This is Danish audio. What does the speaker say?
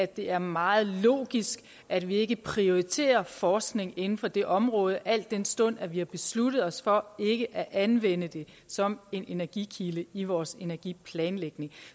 det er meget logisk at vi ikke prioriterer forskning inden for det område al den stund vi har besluttet os for ikke at anvende det som en energikilde i vores energiplanlægning